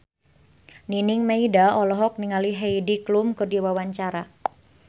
Nining Meida olohok ningali Heidi Klum keur diwawancara